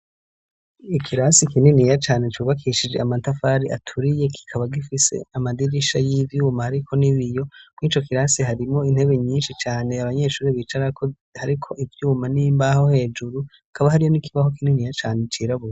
Ikirasi kininiya cane cubakishije amatafari aturiye kikaba gifise amadirisha y'ivyuma ariko n'ibiyo muri ico kirasi harimwo intebe nyinshi cane abanyeshure bicarako hariko ivyuma n'imbaho hejuru kaba hariyo n'ikibaho kininiya cane cirabura.